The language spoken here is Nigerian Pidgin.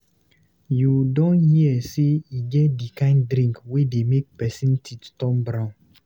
You don hear sey e get di kind drink wey dey make pesin teeth turn brown.